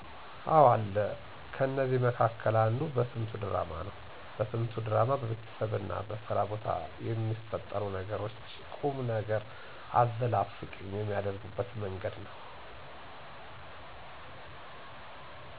አዎ አለ። ከነዚያ መካከል አንዱ በስንቱ ድራማ ነው። በስንቱ ድራማ በቤተሰብና በስራ ቦታ በሚፈጠሩ ነገሮች ቁምነገር አዘል አስቂኝ የሚያደርጉበት መንገድ ነው።